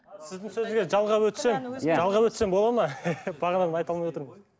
сіздің сөзге жалғап өтсем жалғап өтсем болады ма бағанадан айта алмай отырмын